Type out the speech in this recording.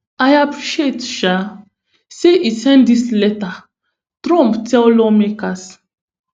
i appreciate um say e send dis letter trump tell lawmakers